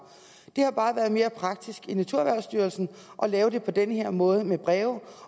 det har bare været mere praktisk i naturerhvervsstyrelsen at lave det på den her måde med breve